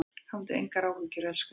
Hafðu engar áhyggjur elskan.